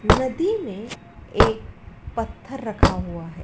नदी में एक पत्थर रखा हुआ है।